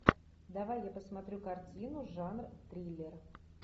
давай я посмотрю картину жанр триллер